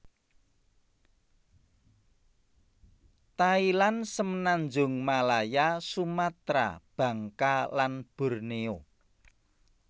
Thailand Semenanjung Malaya Sumatra Bangka lan Borneo